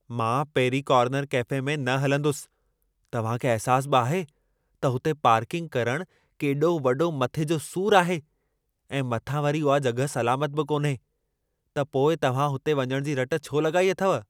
मां Perry Corner Cafe में न हलंदुसि। तव्हां खे अहिसास बि आहे त हुते पार्किंग करण केॾो वॾो मथे जो सूर आहे ऐं मथां वरी उहा जॻहि सलामत बि कान्हे। त पोइ तव्हां हुते वञण जी रट छो लॻाई अथव।